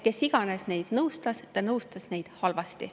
Kes iganes neid nõustas, ta nõustas neid halvasti.